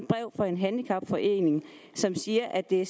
brev fra en handicapforening som siger at de